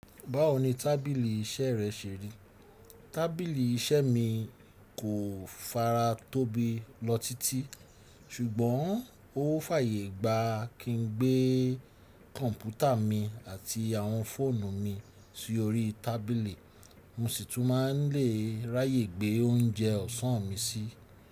Báwo ni tábìlì iṣẹ́ rẹ ṣe rí? Tábìlì iṣẹ́ mi kò fara tóbi lọ títí, ṣùgbọ́n ó fàyè gba kí n gbé kọ̀ǹpútà mi àti àwọn fóònù mi sí orí tábìlì, mo sì tún má n lè ráyè gbé oúnjẹ ọ̀sán mi síi.